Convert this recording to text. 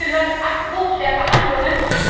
Ich habe nicht gehört Abbruch der Verhandlungen.